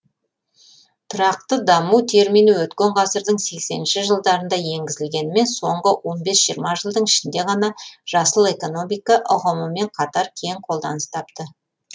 тұрақты даму термині өткен ғасырдың сексенінші жылдарында енгізілгенімен соңғы он бес жиырма жылдың ішінде ғана жасыл экономика ұғымымымен қатар кең қолданыс тапты